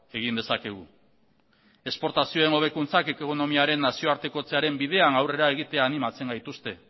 egin dezakegu esportazioen hobekuntzak ekonomiaren nazioartekotzearen bidean aurrera egitera animatzen gaituzte